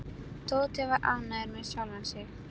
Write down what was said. Tóti var ánægður með sjálfan sig.